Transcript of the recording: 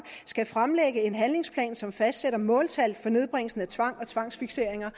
skal fremlægge en handlingsplan som fastsætter måltal for nedbringelsen af tvang og tvangsfikseringer